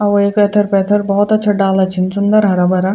और वेक ऐथर पैथर भोत अच्छा डाला छीन सुन्दर हरा भरा।